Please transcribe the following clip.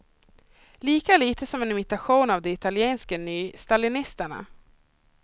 Lika lite som en imitation av de italienska nystalinisterna.